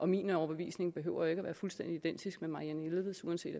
min overbevisning behøver ikke være fuldstændig identisk med fru marianne jelveds uanset